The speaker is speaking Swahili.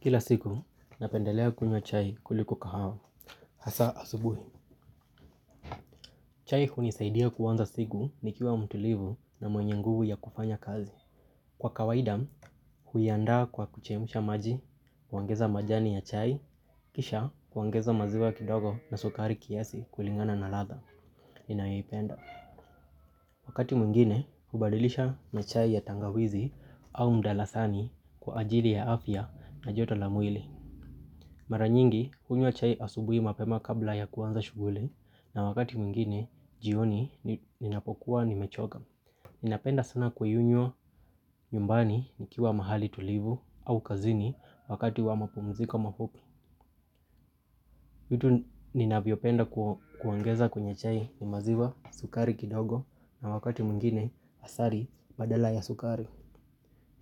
Kila siku, napendelea kunywa chai kuliko kahawa, hasaa asubuhi. Chai hunisaidia kuanza siku nikiwa mtulivu na mwenye nguvu ya kufanya kazi. Kwa kawaida, huiandaa kwa kuchemusha maji, kuongeza majani ya chai, kisha kuongeza maziwa kidogo na sukari kiasi kulingana na ladha ninayoipenda. Wakati mwingine, hubadilisha na chai ya tangawizi au mdalasani kwa ajili ya afya na joto la mwili. Mara nyingi kunywa chai asubuhi mapema kabla ya kuanza shughuli na wakati mwingine jioni ninapokuwa nimechoka. Ninapenda sana kuinywa nyumbani nikiwa mahali tulivu au kazini wakati wa mapumziko mafupi. Vitu ninavyopenda kuongeza kwenye chai ni maziwa, sukari kidogo na wakati mwingine asali badala ya sukari.